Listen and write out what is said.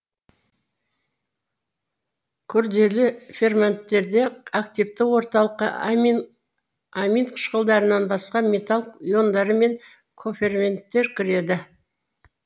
күрделі ферменттерде активті орталыққа амин қышқылдарынан басқа металл иондары мен коферменттер кіреді